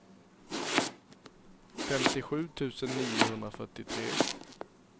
femtiosju tusen niohundrafyrtiotre